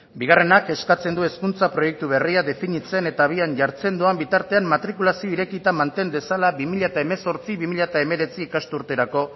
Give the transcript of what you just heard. bigarrenak eskatzen du hezkuntza proiektu berria definitzen eta abian jartzen doan bitartean matrikulazio irekita manten dezala bi mila hemezortzi bi mila hemeretzi ikasturterako